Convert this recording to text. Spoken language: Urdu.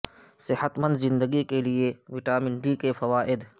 صحت مند زندگی کے لیے وٹامن ڈی کے فوائد